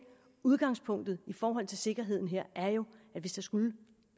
udgangspunktet i forhold til sikkerheden her er jo at hvis der skulle